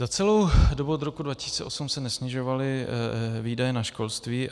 Za celou dobu od roku 2008 se nesnižovaly výdaje na školství.